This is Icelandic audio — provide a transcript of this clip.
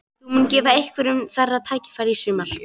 Þú munt gefa einhverjum þeirra tækifæri í sumar?